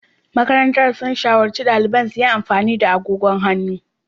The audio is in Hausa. Makarantun sun shawarci daliban su yi amfani da agogon hannu.